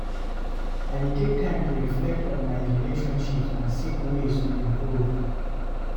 I dey take time to reflect on my relationships and seek ways to improve.